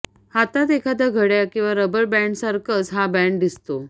हातात एखाद्या घड्याळ किंवा रबर बँन्डसारखंच हा बॅन्ड दिसतो